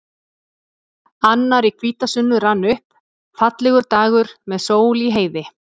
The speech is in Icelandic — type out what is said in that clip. Annar í hvítasunnu rann upp, fallegur dagur með sól í heiði.